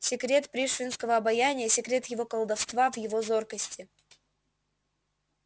секрет пришвинского обаяния секрет его колдовства в его зоркости